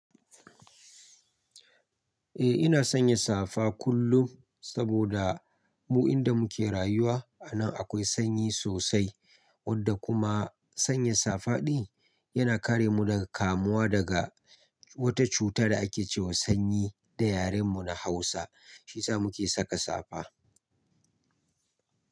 Eh ina sanya safa kullum saboda mu inda muke rayuwa a nan akwai sanyi sosai wadda kuma sanya safa din yana kare mu daga kamuwa daga wata cutar da ake cewa sanyi da yaren mu na Hausa shiyasa muke saka safa.